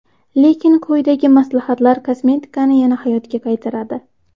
Lekin quyidagi maslahatlar kosmetikani yana hayotga qaytaradi.